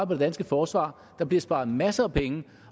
på det danske forsvar der bliver sparet masser af penge